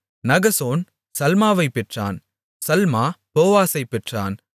Nahshon சல்மாவைப் பெற்றான் Salma போவாசைப் பெற்றான்